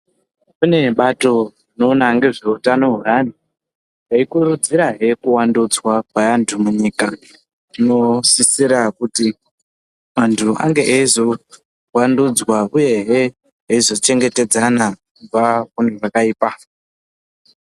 Kune bato rinoina nezveutano hwevantu reyikuridzira hee kuvandudzwa kwe vantu munyika zvinosisira kuti antu vange yeivanddudza uye hee veizo chengetedzana kubva kune zvakaipa.